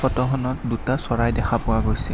ফটোখনত দুটা চৰাই দেখা পোৱা গৈছে।